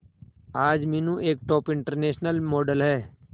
आज मीनू एक top international model है